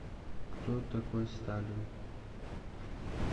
кто такой сталин